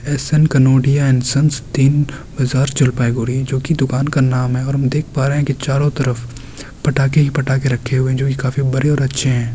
SN. Kanodia and sons Din Bazar Jalpaiguri जो की दुकान का नाम है और हम देख पा रहे है कि चारो तरफ फटाके ही फटाके रखे हुए है जो कि काफी बड़े और अच्छे हैं